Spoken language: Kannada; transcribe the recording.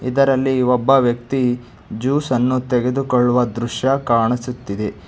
ಅದರಲ್ಲಿ ಒಬ್ಬ ವ್ಯಕ್ತಿ ಜ್ಯೂಸ್ ಅನ್ನು ತೆಗೆದುಕೊಳ್ಳುವ ದೃಶ್ಯ ಕಾಣಿಸುತ್ತಿದೆ.